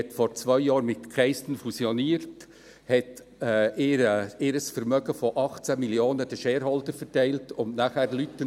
Diese fusionierte vor zwei Jahren mit Keystone, verteilte ihr Vermögen von 8 Mio. Franken an die Shareholder und entliess dann Leute.